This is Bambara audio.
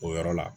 O yɔrɔ la